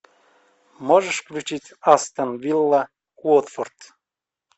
можешь включить астон вилла уотфорд